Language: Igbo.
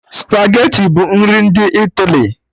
Spageti bụ nri ndị Italy